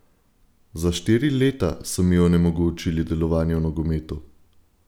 Za štiri leta so mi onemogočili delovanje v nogometu!